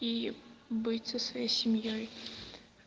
и быть со своей семьёй